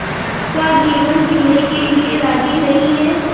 का जीवन जीने के लिए राज़ी नहीं हैं